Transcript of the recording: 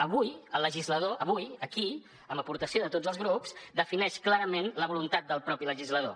avui el legislador avui aquí amb aportació de tots els grups defineix clarament la voluntat del propi legislador